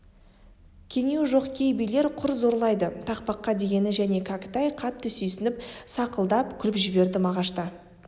кенеуі жоқ кей билер құр зорлайды тақпаққа дегені қане кәкітай қатты сүйсініп сақылдап күліп жіберді мағашта